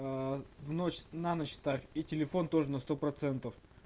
в ночь на ночь ставь и телефон тоже на сто процентов